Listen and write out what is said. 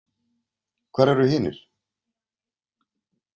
Hvar eru hinir?